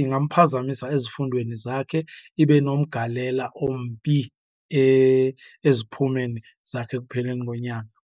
ingamphazamisa ezifundweni zakhe ibe nomgalela ombi eziphumeni zakhe ekupheleni konyaka.